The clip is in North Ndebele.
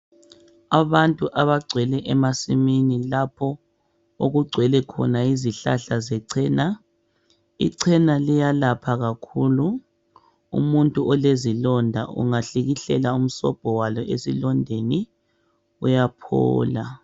Abantu abagcwele emasimini lapho okugcwele khona izihlahla zecena. Icena liyalapha kakhulu umuntu olezilonda. Ungahlikihlela umsobho walo esilondeni uyaphola.